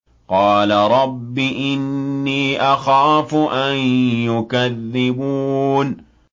قَالَ رَبِّ إِنِّي أَخَافُ أَن يُكَذِّبُونِ